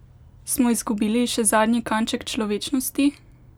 Smo izgubili še zadnji kanček človečnosti?